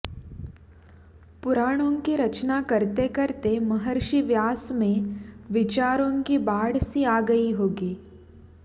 पुराणों की रचना करते करते महर्षि व्यास में विचारों की बाढ़ सी आ गयी होगी